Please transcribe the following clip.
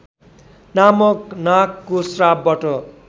नामक नागको श्रापबाट